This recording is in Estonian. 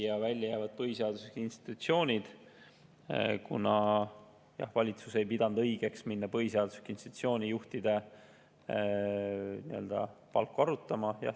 Ja välja jäävad põhiseaduslikud institutsioonid, kuna valitsus ei pidanud õigeks hakata põhiseaduslike institutsioonide juhtide palku arutama.